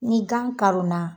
Ni gan karonna